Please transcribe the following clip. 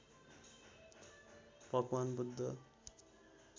भगवान् बुद्ध